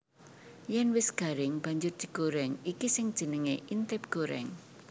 Yèn wis garing banjur digorèng iki sing jenengé intip gorèng